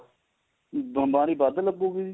ਬੀਮਾਰੀ ਵੱਧ ਲੱਗੂਗੀ ਜੀ